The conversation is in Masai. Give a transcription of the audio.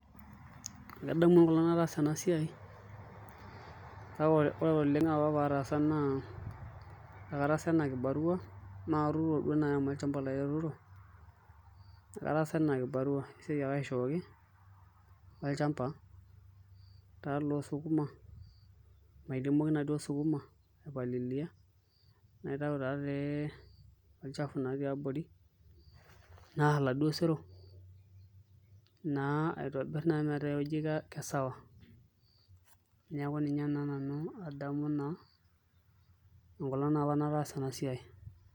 Kadamu enkolong nataasa enasiai kake oleng apa pataasa na kataasa ana kibarua na katuturo oleng amu olchamba lai atuturo, kataasa ana kibarua amu esiai ake aishooki lolchamba losukuna mairemoki na sukuma aipalilia naitau okchafua tiabori naar oladuo sero metaa eijo kesawa neaku ninue na nanu adamu na enkolong naapa nataasa enasia.